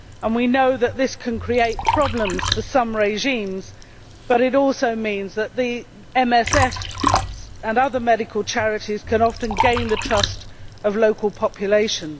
We know this can create problems for some regimes, but it also means that MSF and other medical charities can often gain the trust of local populations.